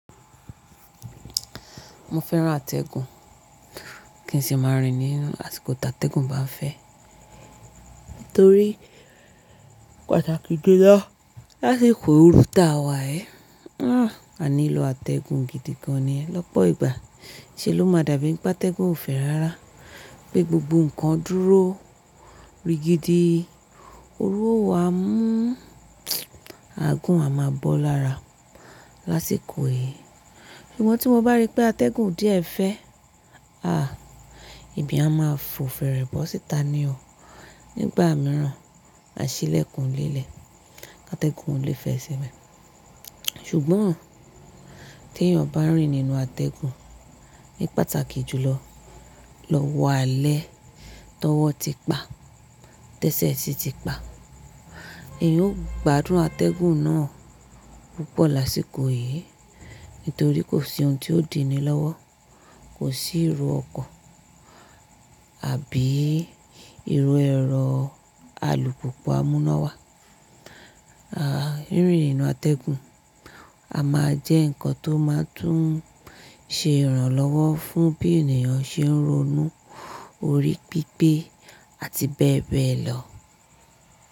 Mo fẹ́ràn atẹ́gùn, kí n sì má rìn ní àsìkò tí atẹ́gùn bá ń fẹ́. Nítorí pàtàkì jùlọ lásìkò òru tá wa yi, a nílò atẹ́gùn gidi gan ni lọ́pọ̀ ìgbà. Ṣe ló máa dàbí pé atẹ́gùn ò fẹ́ rárá pé gbogbo ǹkan dúró rigidi, òru ọwá a mú àagùn a má bọ́ lára lásìkò yìí. Ṣùgbọ́n tí mo bá rí pé atẹ́gùn díẹ̀ fẹ́, èmí à máa fò fèrè bọ́ síta ni o. Nígbà mìíràn, à ṣí ilẹ̀kùn ilé lẹ̀ kí atẹ́gùn ó lè fẹ́ síbẹ̀. Ṣùgbọ́n tí èyàn bá ń rìn nínú atẹ́gùn ní pàtàkì jùlọ lọ́wọ́ alẹ́ tọwọ́ ti pa, tẹ́sẹ̀ sì ti pa, èyàn ó gbádùn atẹ́gùn náà púpọ̀ lásìkò yìí nítorí kò sí ohun tí ó dìní lọ́wọ́, kò sí ìró ọkọ̀ àbí ìró ẹ̀rọ alùpùpù á mú iná wá. Rìnrìn nínú atẹ́gùn a máa jẹ́ ǹkan tó máa tún ṣe ìrànlọ́wọ́ fún bí ènìyàn ṣe ń ronú, orí pípé àti bẹ́ẹ̀ bẹ́ẹ̀ lọ.